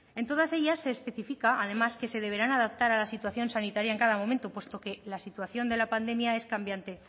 en todas ellas se especifica además que se deberán adaptar a la situación sanitaria en cada momento puesto que la situación de la pandemia es cambiante